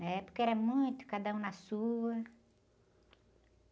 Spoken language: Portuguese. Na época era muito, cada um na sua.